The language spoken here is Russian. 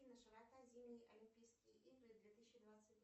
широта зимней олимпийские игры две тысячи двадцать